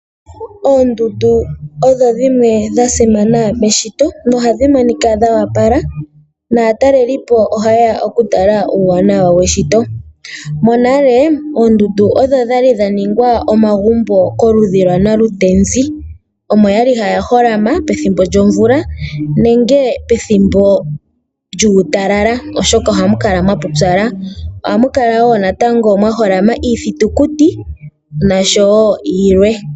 Oondundu odho dhimwe dha simana meshito nohadhi monika dho opala naatalelipo ohaya okutala uuwanawa weshito. Monale oondundu odho dha li dha ningwa omagumbo koludhi lwaNalutenzi. Omo ya li haya holama pethimbo lyomvula nenge pethimbo lyuutalala, oshoka ohamu kala mwa pupyala. Ohamu kala wo mwa holama iithitukuti noshowo yilwe.